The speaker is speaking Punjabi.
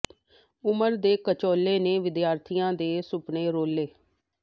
ਉਮਰ ਦੇ ਘਚੋਲੇ ਨੇ ਿ ਵਦਿਆਰਥੀਆਂ ਦੇ ਸੁਪਨੇ ਰੋਲੇ